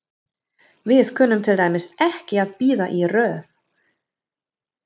Við kunnum til dæmis ekki að bíða í röð.